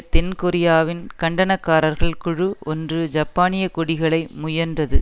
தென் கொரியாவின் கண்டனக்காரர்கள் குழு ஒன்று ஜப்பானிய கொடிகளை முயன்றது